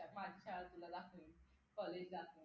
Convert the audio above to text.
माझी शाळा तुला दाखवेण college दाखव